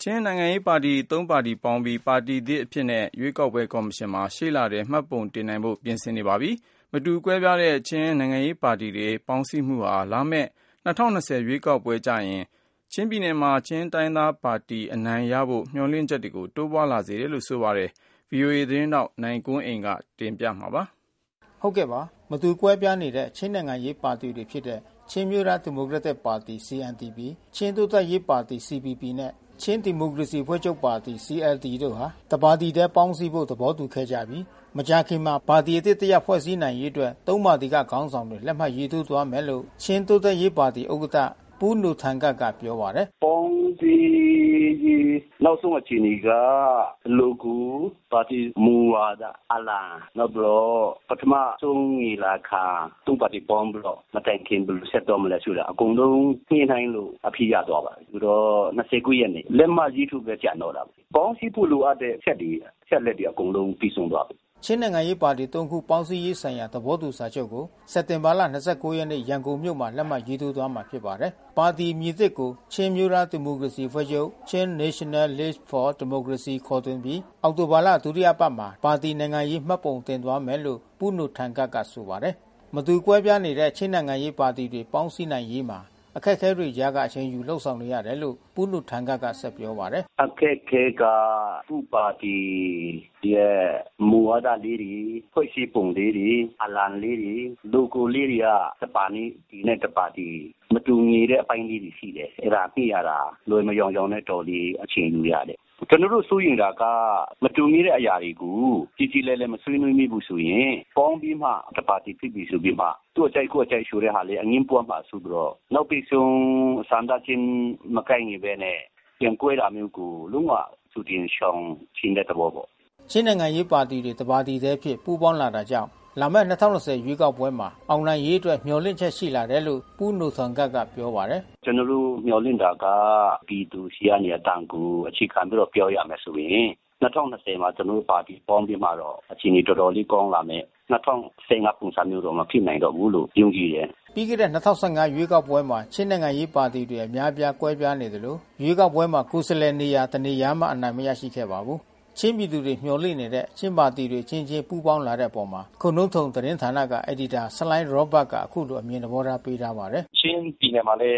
ချင်းနိုင်ငံရေးပါတီ သုံးပါတီပူးပေါင်းပြီး၊ ရှေ့လထဲမှာ ပါတီသစ်အဖြစ်နဲ့ ရွေးကောက်ပွဲကော်မရှင်မှာ မှတ်ပုံတင် နိုင်ဖို့ ပြင်ဆင်နေပါပြီ။ မတူကွဲပြားတဲ့ချင်းနိုင်ငံရေးပါတီတွေ ပေါင်းစည်းမှုဟာ၊ လာမယ့် ၂၀၂၀ ရွေးကောက် ပွဲကြရင် ချင်းပြည်နယ်မှာ ချင်းတိုင်းရင်းသားပါတီအနိုင်ရဖို့ မျေျာ်လင့်ချက်တွေ တိုးလာစေပါတယ်။ ဗွီအိုအေ ထိုင်းအခြေစိုက်သတင်းထောက်နိုင်ကွန်းအိန်ကနေ သတင်းပေးပို့ထားပါတယ်။ မတူကွဲပြားနေတဲ့ ချင်းနိုင်ငံရေးပါတီတွေဖြစ်တဲ့ချင်းအမျိုးသားဒီမိုကရက်တစ်ပါတီ (CNDP)၊ ချင်းတိုးတက်ရေး ပါတီ(CPP)၊နှင့် ချင်းဒီမိုကရေစီအဖွဲ ့ချုပ်ပါတီ(CLD) တို့ဟာ တပါတီတည်းပေါင်းစည်းဖို့ သဘောတူခဲ့ကြပြီး၊ မကြာခင်မှာ ပါတီသစ်တရပ်ဖွဲ့စည်းရေးအတွက် သုံးပါတီက ခေါင်းဆောင်တွေ လက်မှတ်ထိုး သွား မယ်လို့ ချင်းတိုးတက်ရေး ပါတီဥက္ကဌ ပူးနိုထန်ကပ်ကပြောပါတယ်။ "ပေါင်းစည်းရေးနောက်ဆုံးအခြေအနေက လိုဂို ပါတီမူဝါဒ အလံ နောက်ပြီးတော့ ပထမဆုံးညီလာခံ သုံးပါတီ ပေါင်းပြီးတော့ မတိုင်ခင်ဘယ်လိုဆက်သွားမလဲဆိုတာ အကုန်လုံးညှိနှိုင်းလို့အဖြေရသွားပါပြီ။ ဆိုတော့ (၂၉)ရက်နေ့လက်မှတ်ရေးထိုးဖို့ဘဲကျန်တော့တာပေါ့။ ပေါင်းစည်းဖို့လိုအပ်တဲ့အချက်တွေ အချက်အလက် တွေ အကုန်လုံးပြီးဆုံးသွားပြီ။" ချင်းနိုင်ငံရေးပါတီ(၃)ခု ပေါင်းစည်းရေးဆိုင်ရာ သဘောတူစာချုပ်ကို စက်တင်ဘာလ (၂၉)ရက်နေ့ ရန်ကုန် မြို့မှာ လက်မှတ်ရေးထိုးကြမှာဖြစ်ပါတယ်။ ပါတီအသစ်အမည်ကို ချင်းအမျိုးသားဒီမိုကရေစီအဖွဲ့ချုပ် Chin National Leauge for Democracy ခေါ်တွင် ပြီး အောက်တိုဘာလဒုတိယအပတ်မှာ ပါတီနိုင်ငံရေးမှတ်ပုံတင်သွားမယ်လို့ ပူးနိုထန်ကပ်ကဆိုပါတယ်။ မတူကွဲပြားနေတဲ့ ချင်းနိုင်ငံရေးပါတီတွေပေါင်းစည်းနိုင်ရေးမှာ အခက်ခဲတွေကြားကအချိန်ယူ လုပ်ဆောင်နေရ တယ်လို့ ပူးနိုထန်ကပ်ကပြောပါတယ်။ "အခက်ခဲက သူ့ပါတီရဲ့မူဝါဒလေးတွေ၊ ဖွဲ့စည်းပုံလေးတွေ အလံလေးတွေ လိုဂိုလေးတွေက တပါတီနဲ့တပါတီ မတူညီတဲ့အပိုင်းလေးတွေရှိတယ်။ အဲတာညှိရတာ လွယ်မယောင်ယောင်နဲ့တော်တော်လေးအချိန်ယူရတယ်။ ကျွန်တော်တို့စိုးရိမ်တာက မတူညီတဲ့အရာတွေကို ကြေကြေလည်လည် မဆွေးနွေးမိဘူးဆိုရင် ပေါင်းပြီးမှ တပါ တီဖြစ်ပြီးမှ သူ့အကြိုက် ကိုယ့်အကြိုက်ဆိုတဲ့ဟာလေး အငြင်းပွါးမှာစိုးပြီးတော့ နောက်ဘိတ်ဆုံးဆန္ဒချင်းမကိုက် ညီဘဲနဲ့ပြန်ကွဲတာမျိုးကို လုံးဝကြိုတင် ရှောင်ချင်တဲ့သဘောပေါ့။" ချင်းနိုင်ငံရေးပါတီတွေ တပါတီထဲအဖြစ်ပူးပေါင်းလာတာကြောင့် လာမဲ့ ၂၀၂၀ရွေးကောက်ပွဲမှာ အောင်နိုင်ရေး အတွက်မျှော်လင့်ချက်ရှိလာတယ်လို့ ပူးထန်နိုကပ်က ဆက်ပြောပါတယ်။ "ကျွန်တော်တို့မျှော်လင့်တာက ပြည်သူတွေဆီက အသံကိုအခြေခံပြီးတော့ ပြောရမယ်ဆိုရင် ၂၀၂၀မှာ ကျွန် တော်တို့ပါတီပေါင်းပြီးမှတော့ အခြေအနေတော်တော်လေးကောင်းလာမယ်။ ၂၀၁၅ပုံစံမျိုးတော့ မဖြစ်နိုင်တော့ဘူးလို့ယုံကြည်တယ်။" ပြီးခဲ့တဲ့ ၂၀၁၅ ရွေးကောက်ပွဲမှာ ချင်းနိုင်ငံရေးပါတီတွေ အများအပြားကွဲပြားနေသလို ရွေးကောက်ပွဲမှာ ကိုယ် စားလှယ်နေရာ တနေရာမှအနိုင်မရရှိခဲ့ပါဘူး။ ချင်းပြည်သူတွေမျှော်လင့်နေတဲ့ချင်းပါတီတွေ အချင်းချင်းပူးပေါင်းလာတဲ့အပေါ် ခိုနှုန်းတုန်သတင်းဌာန အယ်ဒီ တာဆလိုင်းရောဘတ်ကအခုလိုအမြင်သဘောထားပေးထားပါတယ်။ "ချင်းပြည်နယ်မှာလဲ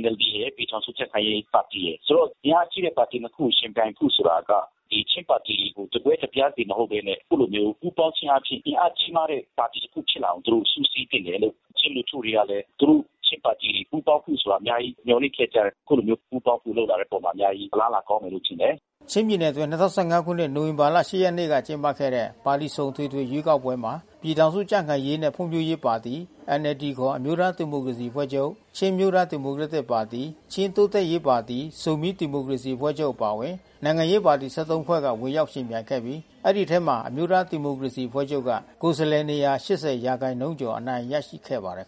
NLDရယ် ပြည်ထောင်စုကြံ့ခိုင်ရေးပါတီရယ်။ ဆိုတော့အင်အားကြီးတဲ့ပါတီနှစ်ခုကိုယှဉ်ပြိုင် ဖို့ ဆိုတာက ဒီချင်းပါတီတွေတကွဲတပြားစီ မဟုတ်ဘဲနဲ့ အခုလိုမျိုးပူးပေါင်းခြင်းအားဖြင့် အင်အားကြီးမားတဲ့ ပါတီတခု ဖြစ်လာအောင်သူတို့စုစည်းသင့်တယ်လို့ ချင်းလူထုတွေကလဲ သူတို့ချင်းပါတီတွေပူးပေါင်းဖို့ ဆိုတာ အများကြီးမျှော်လင့်ခဲ့ကြတယ်။ အခုလိုမျိုးပူးပေါင်းဖို့လုပ်လာတဲ့အပေါ်မှာ အများကြီးအလားလာ ကောင်းမယ် လို့ ထင်တယ်။" ချင်းပြည်နယ်အတွင်း ၂၀၁၅ခုနှစ် နိုဝင်ဘာ(၈)ရက်နေ့ကကျင်းပခဲ့တဲ့ ပါတီစုံအထွေထွေရွေးကောက်ပွဲမှာ ပြည်ထောင်စုကြံ့ခိုင်ရေးနှင့်ဖွံ့ဖြိုးရေးပါတီ၊ NLD ခေါ် အမျိုးသားဒီမိုကရေစီအဖွဲ့ချုပ်၊ ချင်းအမျိုးသား ဒီမိုကရက်တစ်ပါတီ ၊ ချင်းတိုးတက်ရေးပါတီ၊ ဇီုမီးဒီမိုကရေစီအဖွဲ့ချုပ်အပါအဝင် နိုင်ငံရေးပါတီ(၁၃)ဖွဲ့က ဝင်ရောက် ယှဉ်ပြိုင်ခဲ့ပြီး ဒီအထဲမှာအမျိုးသားဒီမိုကရေစီအဖွဲ့ချုပ်က ကိုယ်စားလှယ်(၈၀)ရာခိုင်နှုန်းကျော် အနိုင်ရရှိခဲ့ ပါတယ်